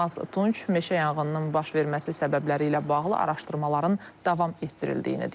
Yılmaz Tunç meşə yanğınının baş verməsi səbəbləri ilə bağlı araşdırmaların davam etdirildiyini deyib.